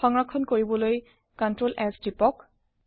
সংৰক্ষন কৰিবলৈ টিপক ctrl s